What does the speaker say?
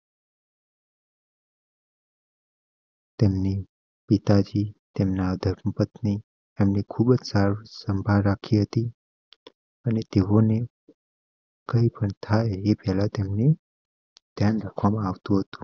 તેમની પિતા જી તેમના ધર્મપત્ની એમ ની ખૂબ સાર સંભાળ રાખી હતી. અને તેઓ ને કઈ પણ થાય એ પહેલાં તેમની દયાન રાખવામાં આવતું હતું